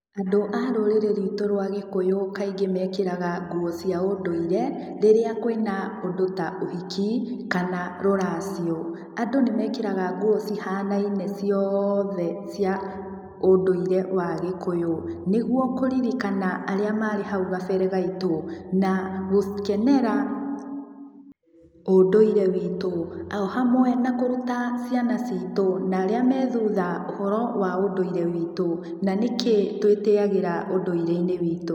Andũ a rũrĩrĩ rwitũ rwa Gĩkũyũ kaingĩ mekĩraga nguo cia ũndũire, rĩrĩa kwĩ na ũndũ ta ũhiki, kana rũracio. Andũ nĩmekĩraga nguo cihanaine cioothe cia, ũndũire wa Gĩkũyũ, nĩguo kũririkana arĩa marĩ hau gabere gaitũ, na gũkenera, ũndũire witũ, o hamwe na kũruta ciana citũ na arĩa me thutha, ũhoro wa ũndũire witũ, na nĩkĩ twĩtĩyagĩra ũndũire-inĩ witũ.